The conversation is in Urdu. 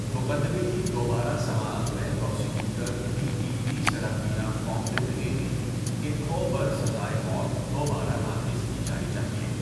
مقدمے کی دوبارہ سماعت میں پراسیکیوٹر D P P Serafina Fong نے دلیل دی کہ کھو پر سزائے موت دوبارہ نافذ کی جانی چاہیے۔